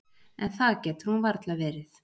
En það getur hún varla verið.